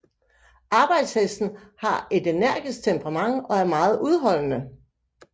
Arbejdshesten har et energisk temperament og er meget udholdende